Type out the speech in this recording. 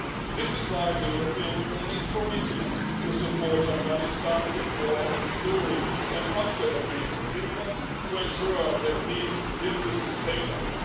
This is why the European Union is committed to supporting Afghanistan before, during and after a peace agreement to ensure that this will be sustainable.